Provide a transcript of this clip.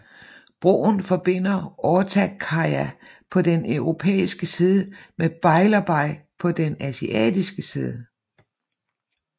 Broen forbinder Ortaköy på den europæiske side med Beylerbeyi på den asiatiske side